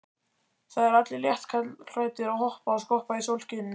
Það eru allir léttklæddir að hoppa og skoppa í sólskininu.